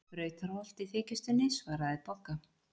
Brautarholt í þykjustunni, svaraði Bogga.